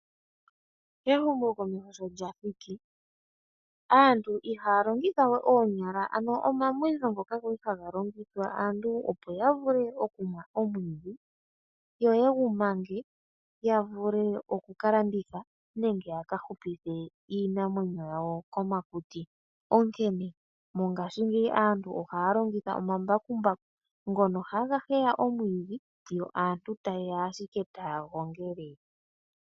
Ehumokomeho sho lya thiki, ano aantu ihaa longitha we omamwitho ngoka ga li haga longithwa kaantu opo ya vule okumwa omwiidhi yo ye gu mange ya vule okuka landitha nenge ya ka hupithe iinamwenyo yawo komakuti. Onkene, mongashingeyi aantu ohaa longitha omambakumbaku ngono haga heya omwiidhi, yo aantu taye ya ashike taa gongele.